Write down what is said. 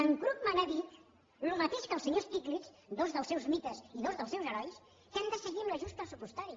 en krugman ha dit el mateix que el senyor stiglitz dos dels seus mites i dos dels seus herois que hem de seguir amb l’ajust pressupostari